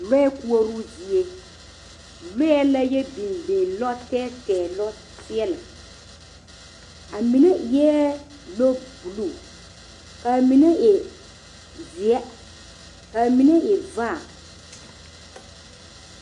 Lɔɛ koɔroo zie, lɔɛ la yɔ biŋ biŋ, lɔtɛɛtɛɛ lɔseɛlɛ, a mine eɛ lɔbuluu, ka a mine e zeɛ, ka a mine e vaa.